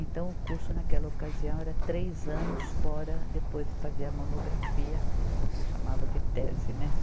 Então, o curso naquela ocasião era três anos fora, depois fazia a monografia, que chamava de tese, né?